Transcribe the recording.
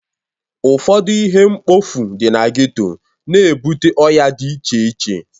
Ụfọdụ ihe mkpofu dị na geto na-ebute ọya dị iche iche.